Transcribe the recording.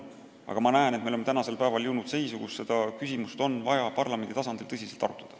Aga ma näen, et me oleme jõudnud seisu, kus seda küsimust on vaja parlamendi tasandil tõsiselt arutada.